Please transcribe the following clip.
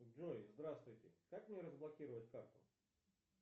джой здравствуйте как мне разблокировать карту